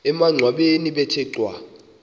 emangcwabeni bethe cwaka